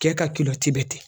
Cɛ ka bɛ ten